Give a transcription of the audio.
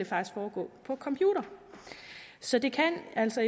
foregå på computer så det kan altså